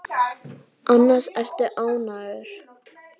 Annars ertu ágætur.